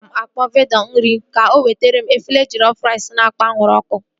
Aga m akpọọ vendọ nri m ka o wetere m efere jellof rice na-ekpo anwụrụ ọkụ